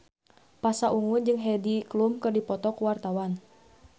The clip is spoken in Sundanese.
Pasha Ungu jeung Heidi Klum keur dipoto ku wartawan